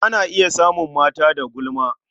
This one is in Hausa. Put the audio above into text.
A na iya samun mata da gulma.